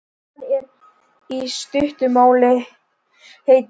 Hann er, í stuttu máli, heitur.